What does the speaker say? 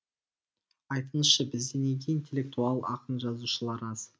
айтыңызшы бізде неге интеллектуал ақын жазушылар аз